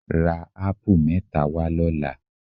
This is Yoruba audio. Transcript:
Ra ápù mẹ́ta wá lọ́la.